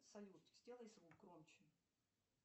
салют сделай звук громче